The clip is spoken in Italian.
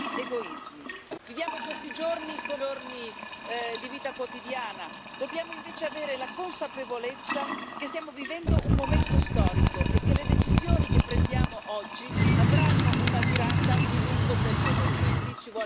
Viviamo questi giorni come giorni di vita quotidiana, dobbiamo invece avere la consapevolezza che stiamo vivendo un momento storico e che le decisioni che prendiamo oggi avranno una durata di lungo periodo, quindi ci vuole davvero coraggio.